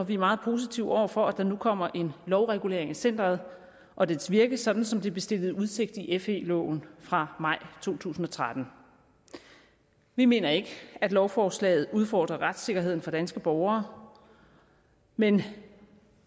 og vi er meget positive over for at der nu kommer en lovregulering af centeret og dets virke sådan som det blev stillet i udsigt i fe loven fra maj to tusind og tretten vi mener ikke at lovforslaget udfordrer retssikkerheden for danske borgere men